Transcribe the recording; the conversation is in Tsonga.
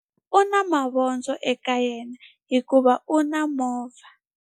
U na mavondzo eka yena hikuva u na movha.